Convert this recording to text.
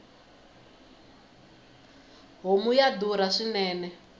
homu ya durha swinene